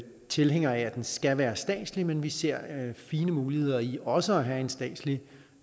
tilhængere af at det skal være statsligt men vi ser fine muligheder i også at have en statslig